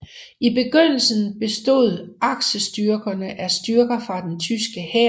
I begyndelsen bestod aksestyrkerne af styrker fra den tyske hær